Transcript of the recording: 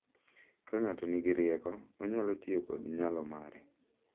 Ka ng’ato nigi rieko, onyalo tiyo kod nyalo mare